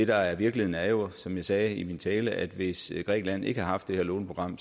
der er virkeligheden er jo som jeg sagde i min tale at hvis grækenland ikke havde haft det her låneprogram